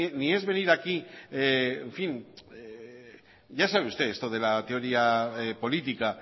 ni es venir aquí en fin ya sabe usted esto de la teoría política